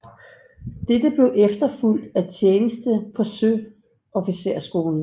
Dette blev efterfulgt af tjeneste på søofficerskolen